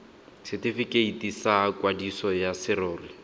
setifikeiti sa kwadiso ya serori